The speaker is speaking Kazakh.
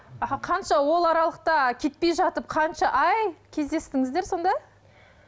аха қанша ол аралықта кетпей жатып қанша ай кездестіңіздер сонда